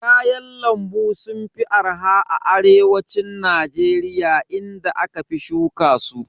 Kayan lambu sun fi arha a arewacin Najeriya inda aka fi shuka su.